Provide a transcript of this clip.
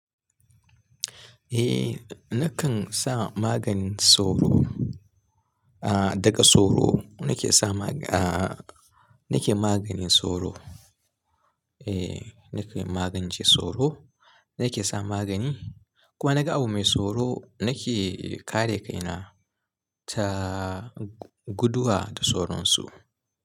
Eh nakan sa maganin sauro, a daga sauro nake sa ma a nake maganin sauro. E nake magance sauro nake sa magani. Ko naga abu mai sauro nake kare kaina ta guduwa da sauransu.